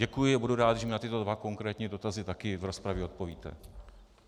Děkuji a budu rád, když mi na tyto dva konkrétní dotazy taky v rozpravě odpovíte.